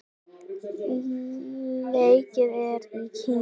Leikið er í Kína.